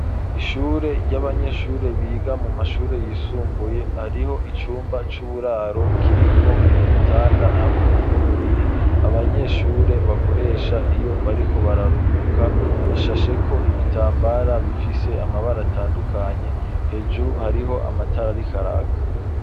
Ishure ry'abanyeshure biga mu mashure yisumbuye hariho icumba c'uburaro kirimwo ibitanda hamwe n'uburiri abanyeshure bakoresha iyo bariko bararuhuka hashashe ko ibitambara bifise amabara atandukanye hejuru hariho amatara ariko araka.